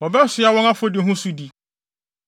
Wɔbɛsoa wɔn afɔdi ho sodi.